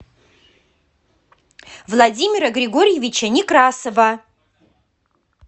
владимира григорьевича некрасова